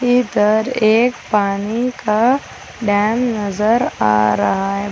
इधर एक पानी का डैम नजर आ रहा है।